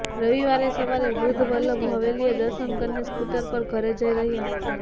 રવિવારે સવારે વૃદ્વ વલ્લભ હવેલીએ દર્શન કરીને સ્કૂટર પર ઘરે જઇ રહ્યા હતા